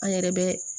An yɛrɛ bɛ